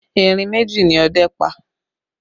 Erin méjì ni ọdẹ́ pa